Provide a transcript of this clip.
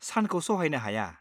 सानखौ सहायनो हाया।